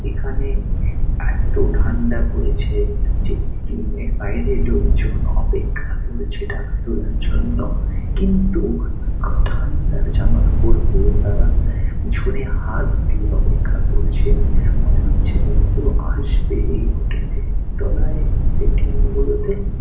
এখানে এতো ঠান্ডা পড়েছে যে এ .টি. এম. বাইরে লোকজন অপেক্ষা করছে টাকা তোলার জন্য কিন্তু ঠাণ্ডার জামাকাপড় পরে তারা পিছনে হাত দিয়ে আপেক্ষা করছেন ।মনে হচ্ছে যেন কেউ আসবে এই হোটেলে । তলায় এ. টি. এম. গুলোতে --